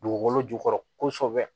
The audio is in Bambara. Dugukolo jukɔrɔ kosɛbɛ